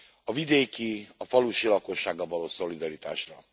A vidéki, a falusi lakossággal való szolidaritásra.